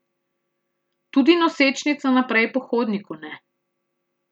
Tudi nosečnica naprej po hodniku ne.